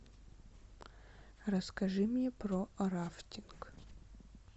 расскажи мне про рафтинг